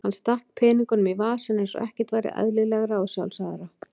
Hann stakk peningunum í vasann eins og ekkert væri eðlilegra og sjálfsagðara.